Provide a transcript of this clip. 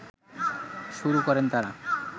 শুরু করেন তারা